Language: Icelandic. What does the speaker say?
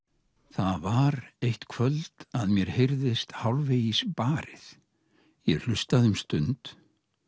það var eitt kvöld að mér heyrðist hálfvegis barið ég hlustaði um stund